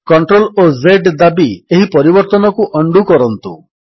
CTRL ଓ Z ଦାବି ଏହି ପରିବର୍ତ୍ତନକୁ ଉଣ୍ଡୋ କରନ୍ତୁ